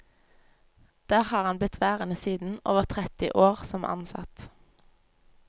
Der har han blitt værende siden, over tretti år som ansatt.